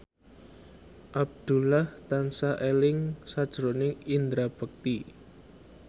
Abdullah tansah eling sakjroning Indra Bekti